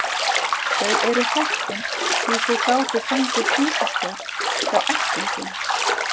Þau eru heppin því þau gátu fengið húsaskjól hjá ættingjum.